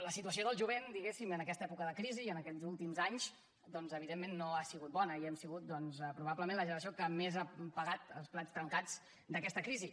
la situació del jovent en aquesta època de crisi i en aquests últims anys evidentment no ha sigut bona i hem sigut probablement la generació que més ha pagat els plats trencats d’aquesta crisi